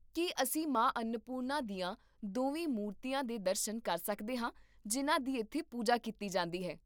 ਕੀ ਅਸੀਂ ਮਾਂ ਅੰਨਪੂਰਨਾ ਦੀਆਂ ਦੋਵੇਂ ਮੂਰਤੀਆਂ ਦੇ ਦਰਸ਼ਨ ਕਰ ਸਕਦੇ ਹਾਂ ਜਿਨ੍ਹਾਂ ਦੀ ਇੱਥੇ ਪੂਜਾ ਕੀਤੀ ਜਾਂਦੀ ਹੈ?